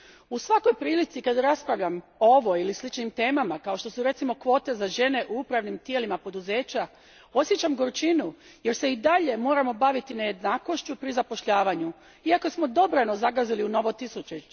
U svakoj prilici kad raspravljam o ovoj ili sličnim temama, kao što su recimo kvote za žene u upravnim tijelima poduzeća, osjećam gorčinu, jer se i dalje moramo baviti nejednakošću pri zapošljavanju, iako smo dobrano zagazili u novo tisućljeće.